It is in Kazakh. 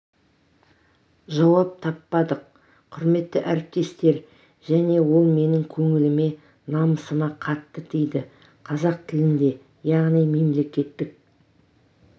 жауап таппадық құрметті әріптестер және ол менің көңіліме намысыма қатты тиді қазақ тілінде яғни мемлекеттік